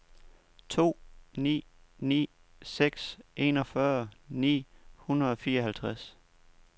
to ni ni seks enogfyrre ni hundrede og fireoghalvtreds